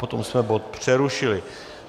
Potom jsme bod přerušili.